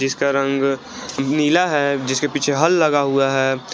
इसका रंग नीला है जिसके पीछे हल लगा हुआ है।